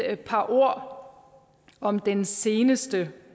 et par ord om den seneste